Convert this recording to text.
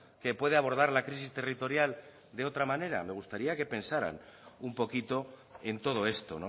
que puede abordar la crisis territorial de otra manera me gustaría que pensaran un poquito en todo esto